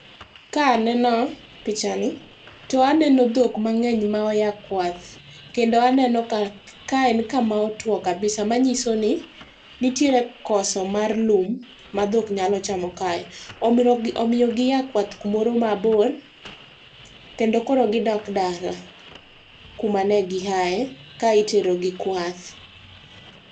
Ka aneno pichani, to aneno dhok mang'eny ma oya kwath. Kendo aneno ka en kama otuo kabisa manyiso ni, nitiere koso mar lum ma dhok nyalo chamo kae. Omiyo gia kwath kumoro mabor, kendo koro gidok dala kumane gihae ka iterogi kwath.